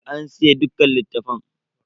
An siye dukkan littafan.